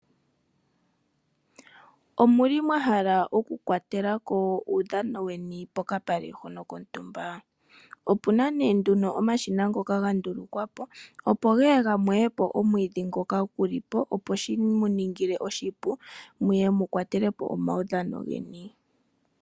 Omuli mwa hala oku kwatela ko uudhano weni pokapale kontumba? Opu na nee nduno omashina ngono ga ndulukwa po opo geye ga mweye omwiidhi ngoka gu li po opo shimu ningile oshipu muye mu kwatele po omaudhano geni.